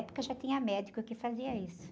já tinha médico que fazia isso.